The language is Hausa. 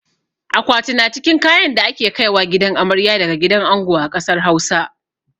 Akwati na cikin kayan da ake kaiwa gidan amarya daga gidan ango a ƙasar Hausa.